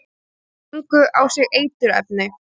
Fengu á sig eiturefni